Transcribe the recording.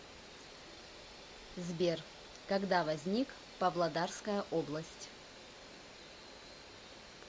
сбер когда возник павлодарская область